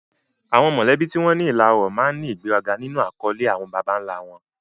Àwọn mọ̀lẹ́bí tí wọ́n ní ìlà ọlọ́rọ̀ máa ń ní ìgbéraga nínú àkọlé àwọn baba ńlá wọn.